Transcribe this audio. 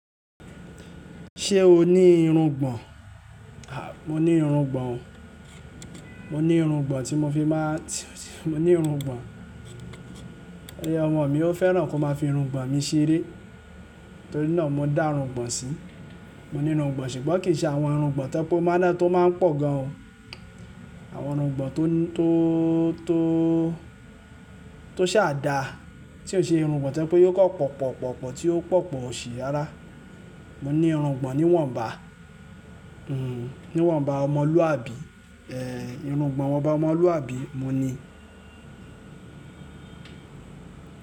Ṣé o ní irùngbọ̀n? A! Mò ní irùngbọ̀n o. Mò ní irùngbọ̀n tí mo fi máa-- mò ní irùngbọ̀n. Ọmọ mi, wọ́n fẹ́ràn kí wọ́n máa fi irùngbọ̀n mi ṣeré torí náà mo dá irùngbọ̀n sí. Mò ní irùngbọ̀n ṣùgbọ́n kì í ṣe àwọn irùngbọ̀n tó jẹ́ pé ó máa ń pọ̀ gan o. Àwọn irùngbọ̀n tó, tó, tó ṣà dáa, tí ò ń ṣe irùngbọ̀n tó jẹ́ pé yíò kan pọ̀ pọ̀ pọ̀ pọ̀ tí ó pọ̀ pọ̀ òṣì rára. Mò ní irùngbọ̀n níwọ̀nba, hm, níwọ̀nba ọmọlúwàbí, ẹ, irùngbọ̀n ìwọ̀nba ọmọlúàbí, mo ní.